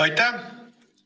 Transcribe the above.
Aitäh!